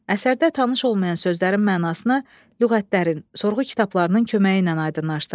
Əsərdə tanış olmayan sözlərin mənasını lüğətlərin, sorğu kitablarının köməyi ilə aydınlaşdırın.